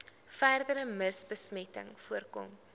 verdere mivbesmetting voorkom